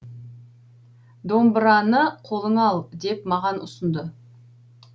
домбыраны қолыңа ал деп маған ұсынды